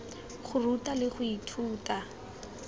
go ruta le go ithuta